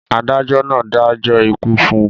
adájọ náà dájọ́ ikú fún un